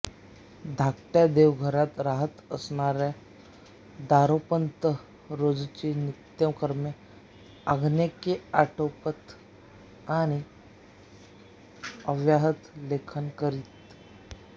धाकट्या देवघरात राहत असताना दासोपंत रोजची नित्यकर्मे आन्हिके आटोपत आणि अव्याहत लेखन करीत